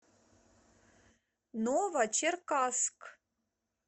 новочеркасск